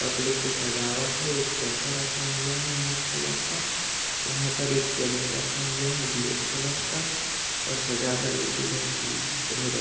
कपडे से सजावट है एक सोफा रखा हुआ हैं व्हाइट कलर का यहाँ पर एक कैमरा रखा हुआ हैं ब्लॅक कलर का और सजावट बिलकुल बेहतरीन हैं। और--